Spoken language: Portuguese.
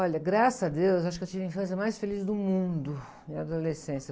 Olha, graças a Deus, acho que eu tive a infância mais feliz do mundo, e a adolescência.